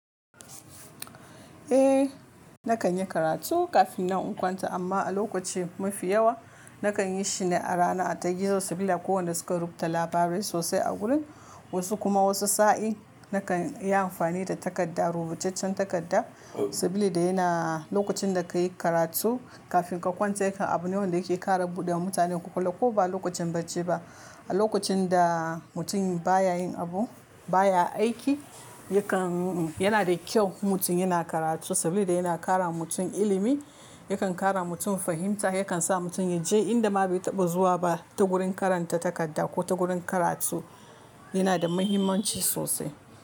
Eh, na kan yi karatu kafin nan kwanta, amma a lokaci mafi yawa na kan yi shi ne a rana. Ta gizo saboda kowanne suka rubuta labarai sosai a gurin, wasu kuma wasu sa'in. Na kan yi amfani da takarda, rubutaccen takarda saboda yana lokacin da ka yi karatu kafin ka kwanta, yakan abu ne wanda yake ƙara buɗe wa mutane kwakwalwa. Ko ba lokacin bacci ba, a lokacin da mutum baya yin abu, ba ya aiki, yakan yana da kyau mutum yana karatu saboda yana kara mutum ilimi, yakan kara mutum fahimta, yakan sa mutum ya je inda ma bai taɓa zuwa ba ta gurin karanta takarda ko ta gurin karatu. Yana da muhimmanci sosai.